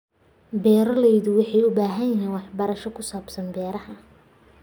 Beeraleydu waxay u baahan yihiin waxbarasho ku saabsan beeraha.